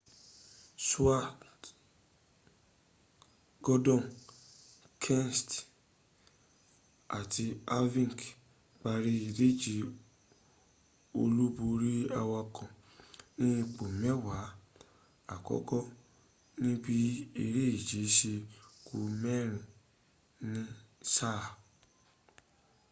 stewart gordon kenseth àti harvick parí ìdíje olúborí awakọ ní ipò mẹ́wàá àkọ́kọ́̀ níbi eréje se ku mẹ́rin ní sáà